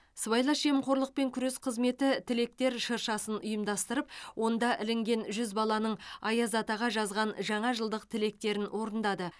сыбайлас жемқорлыпен күрес қызметі тілектер шыршасын ұйымдастырып онда ілінген жүз баланың аяз атаға жазған жаңа жылдық тілектерін орындады